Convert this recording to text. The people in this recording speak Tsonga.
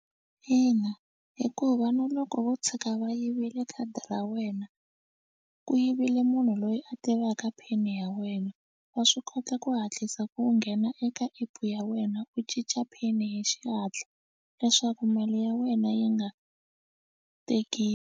Ina, hikuva na loko vo tshika va yivile khadi ra wena ku yivile munhu loyi a tivaka pin ya wena wa swi kota ku hatlisa u nghena eka app ya wena u cinca pin hi xihatla leswaku mali ya wena yi nga teki.